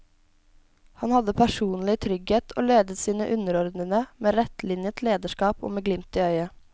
Han hadde personlig trygghet og ledet sine underordnede med rettlinjet lederskap og med glimt i øyet.